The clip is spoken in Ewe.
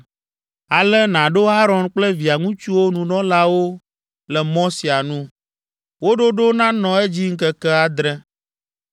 “Ale nàɖo Aron kple via ŋutsuwo nunɔlawo le mɔ sia nu. Wo ɖoɖo nanɔ edzi ŋkeke adre.